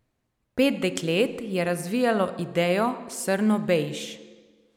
Pet deklet je razvijalo idejo Srnobejž.